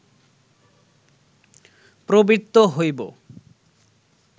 প্রবৃত্ত হইব